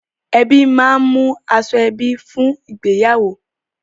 Ẹbí máa ń mú aṣoẹbí fún ìgbéyàwó.